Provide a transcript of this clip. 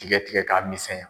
Tiga tigɛ k'a misɛnya